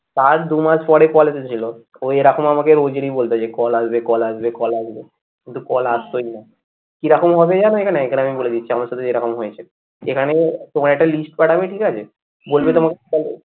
তার দু মাস পরে call এসেছিলো ওই এরকম আমাকে রোজই বলতো call আসবে call আসবে call আসবে কিন্তু call আস্তই না, কি রকম হবে জানো এখানে, এখানে আমি বলে দিচ্ছি আমার সাথে যেরকম হয়েছে এখানে তোমার একটা list পাঠাবে ঠিক আছে? বলবে